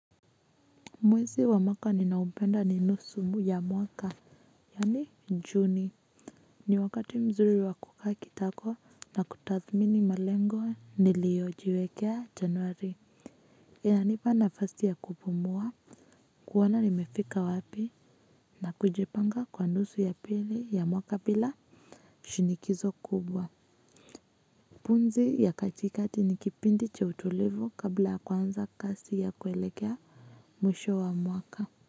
Mwezi wa maka ninaopenda ni nusu ya mwaka. Yani juni ni wakati mzuri wa kukaa kitako na kutathmini malengo niliojiwekea januari. Inanipa nafasi ya kupumua kuona nimefika wapi na kujipanga kwa nusu ya pili ya mwaka pila. Shinikizo kubwa. Pumzi ya katikati ni kipindi cha utulivu kabla ya kuanza kasi ya kuelekea mwisho wa mwaka. Kwa hivyo.